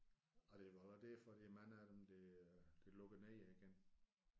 Og det er nok også derfor der er mange af dem der der lukker ned igen